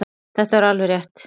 Þetta er alveg rétt.